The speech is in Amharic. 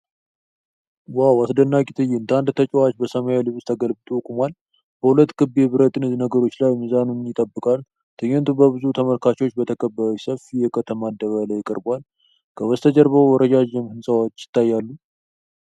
ዋው! አስደናቂ ትዕይንት! አንድ ተጨዋች በሰማያዊ ልብስ ተገልብጦ ቆሟል፤ በሁለት ክብ የብረት ነገሮች ላይ ሚዛኑን ይጠብቃል። ትዕይንቱ በብዙ ተመልካቾች በተከበበ ሰፊ የከተማ አደባባይ ላይ ቀርቧል። ከበስተጀርባ ረዣዥም ሕንፃዎች ይታያሉ።